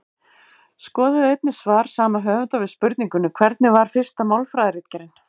Skoðið einnig svar sama höfundar við spurningunni Hvernig var fyrsta málfræðiritgerðin?